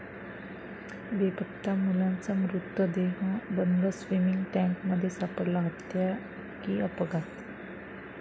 बेपत्ता मुलाचा मृतदेह बंद स्विमिंग टँकमध्ये सापडला, हत्या की अपघात?